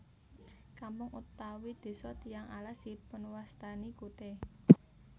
Kampung utawi desa Tiyang Alas dipunwastani kute